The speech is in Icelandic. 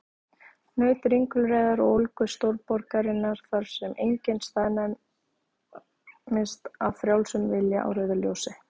Naut ringulreiðar og ólgu stórborgarinnar, þar sem enginn staðnæmist af frjálsum vilja á rauðu ljósi.